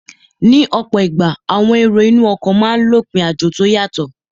Ní ọ̀pọ̀ ìgbà, àwọn èrò inú ọkọ̀ máa n lọ òpin àjò tó yàtọ